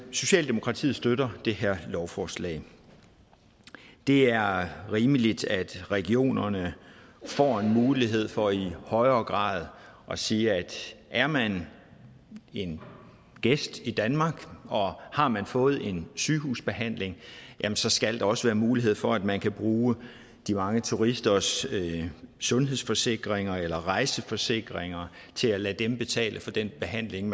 socialdemokratiet støtter det her lovforslag det er rimeligt at regionerne får en mulighed for i højere grad at sige at er man en gæst i danmark og har man fået en sygehusbehandling jamen så skal der også være mulighed for at man kan bruge de mange turisters sundhedsforsikringer eller rejseforsikringer til at lade dem betale for den behandling